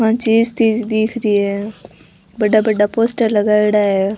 दिख रही है बड़ा बड़ा पोस्टर लगायोडा है।